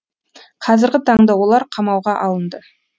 қазіргі таңда олар қамауға алынды